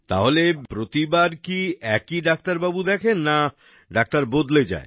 তাহলে প্রতিবার কী একই ডাক্তারবাবু দেখেন না কী ডাক্তার বদলে যায়